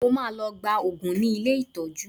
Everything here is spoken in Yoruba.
Mo máa lọ gba òògùn ní ilé ìtọ́jú